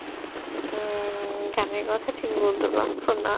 উম গানের কথা ঠিক বলে দেব সোনা